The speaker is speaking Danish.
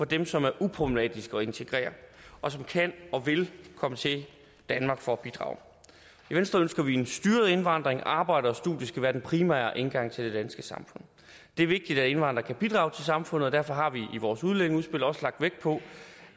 dem som er uproblematiske at integrere og som kan og vil komme til danmark for at bidrage i venstre ønsker vi en styret indvandring arbejde og studie skal være den primære indgang til det danske samfund det er vigtigt at indvandrere kan bidrage til samfundet og derfor har vi i vores udlændingeudspil også lagt vægt på